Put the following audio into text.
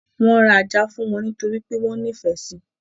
Wọ́n ra Ajá fún wọn nítorí pé wọ́n nífẹ̀ẹ́ sí.